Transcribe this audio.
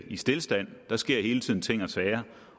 i stilstand der sker hele tiden ting og sager